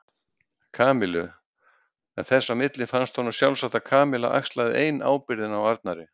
Kamillu en þess á milli fannst honum sjálfsagt að Kamilla axlaði ein ábyrgðina á Arnari.